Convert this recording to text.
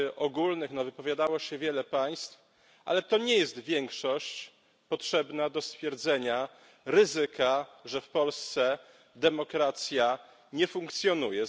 Ogólnych wypowiadało się wiele państw, ale to nie jest większość potrzebna do stwierdzenia ryzyka, że w Polsce demokracja nie funkcjonuje.